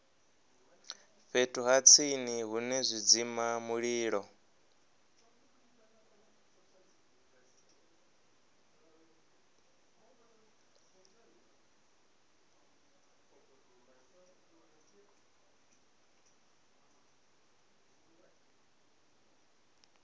fhethu ha tsini hune zwidzimamulilo